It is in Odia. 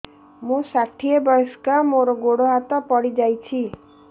ମୁଁ ଷାଠିଏ ବୟସ୍କା ମୋର ଗୋଡ ହାତ ପଡିଯାଇଛି